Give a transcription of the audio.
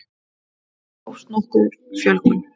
Þá hófst nokkur fjölgun.